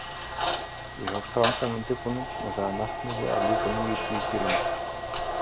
Ég hóf strangan undirbúning með það að markmiði að ljúka níutíu kílómetra